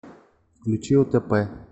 включи отп